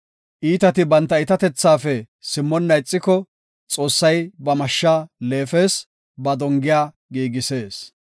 Iitati banta iitatethaafe simmonna ixiko, Xoossay ba mashsha leefes; ba dongiya giigisees.